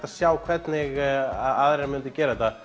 að sjá hvernig aðrir myndu gera þetta